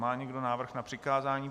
Má někdo návrh na přikázání?